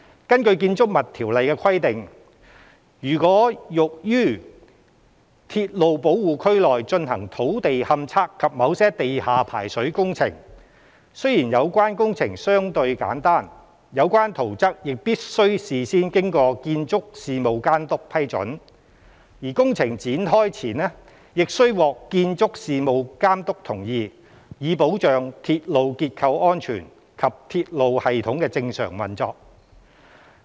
根據《條例》的規定，如欲於鐵路保護區內進行土地勘測及某些地下排水工程，雖然有關工程相對簡單，有關圖則亦必須事先經建築事務監督批准，而工程展開前亦須獲建築事務監督同意，以保障鐵路結構安全及鐵路系統的正常運作。